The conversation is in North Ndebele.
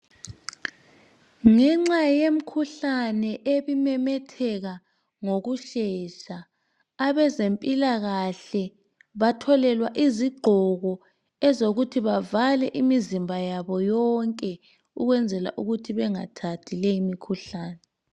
Ngenxa yemikhuhlane ebimemetheka ngokushesha abezempilakahle bathole izigqoko ezokuthi bavale imizimba yabo yonke ukwenzela ukuthi bengathathi leyo mikhuhlane.